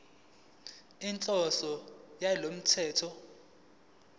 inhloso yalo mthetho